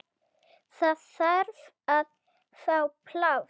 Það þarf að fá pláss.